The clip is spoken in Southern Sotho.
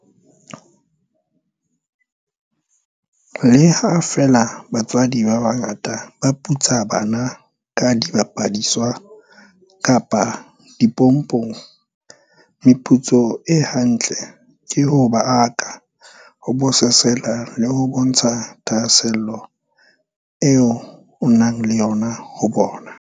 Le ha feela batswadi ba bangata ba putsa bana ka dibapadiswa kapa dimpopong, meputso e ha ntle ke ho ba aka, ho bososela le ho bontsha thahaselo eo o nang le yona ho bona.